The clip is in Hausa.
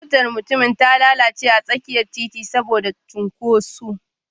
Motar mutumin ta lalace a tsakiyar titin saboda cunkoso